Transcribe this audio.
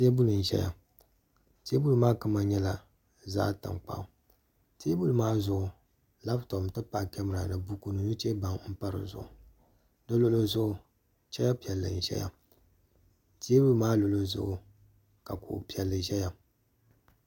teebuli n ʒɛya teebuli maa kama nyɛla zaɣ tankpaɣu teebuli maa zuɣu labtop n tipahi kamɛra ni nuchɛ baŋ n pa di zuɣu di luɣuli zuɣu chɛya piɛlli n ʒɛya teebuli maa luɣuli zuɣu ka kuɣu piɛlli ʒɛya